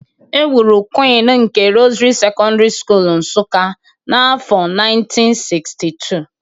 E wuru Queen of the Rosary Secondary School, Nsuka n’afọ 1962.